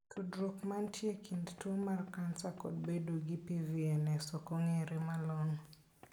Tudruok mantie e kind tuo mar kansa kod bedo gi PVNS ok ong'ere malong'o.